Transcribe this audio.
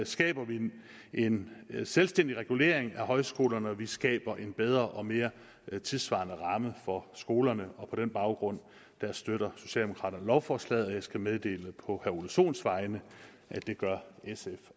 skaber vi en selvstændig regulering af højskolerne og vi skaber en bedre og mere tidssvarende ramme for skolerne på den baggrund støtter socialdemokraterne lovforslaget og jeg skal meddele på herre ole sohns vegne at det gør sf